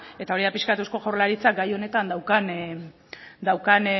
eta hori da pixkat eusko jaurlaritzak gai honetan daukan